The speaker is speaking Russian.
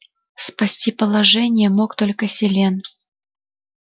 спасти положение мог только селен